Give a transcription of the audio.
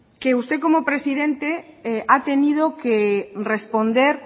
que usted como presidente ha tenido que responder